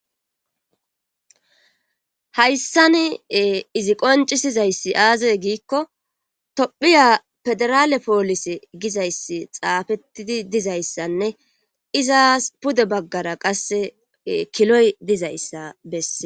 Hayssan izi qoncisizayssi aazey giikko tophiya pederaale poolise gizayssi xaafettidi dizayssanne izaas pude baggara qasse kiloy dizayssa besse.